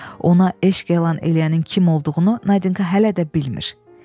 Ona eşq elan eləyənin kim olduğunu Nadinka hələ də bilmir.